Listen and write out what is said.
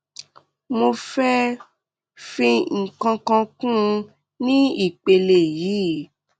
mo fẹ fi nǹkan kan kún un ní ìpele yìí